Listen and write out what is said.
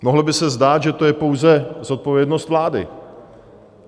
Mohlo by se zdát, že to je pouze zodpovědnost vlády.